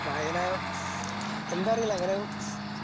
വായനാ എന്താറിയില്ല എങ്ങനെയോ